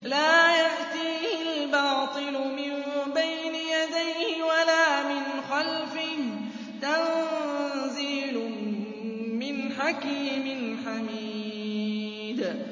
لَّا يَأْتِيهِ الْبَاطِلُ مِن بَيْنِ يَدَيْهِ وَلَا مِنْ خَلْفِهِ ۖ تَنزِيلٌ مِّنْ حَكِيمٍ حَمِيدٍ